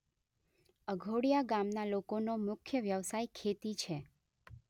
અધોડીયા ગામના લોકોનો મુખ્ય વ્યવસાય ખેતી છે.